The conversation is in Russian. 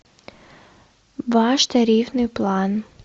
ваш тарифный план